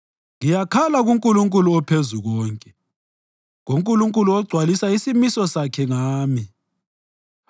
Ngiyakhala kuNkulunkulu oPhezukonke, kuNkulunkulu ogcwalisa isimiso sakhe ngami.